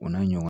O n'a ɲɔgɔnna